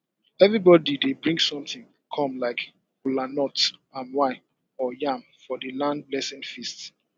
everybody dey bring something come like kolanut palm wine and yam for di land blessing feast